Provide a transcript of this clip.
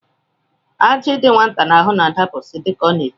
Ajị dị nwata n'ahụ na-adapụsị dịka ọ na-eto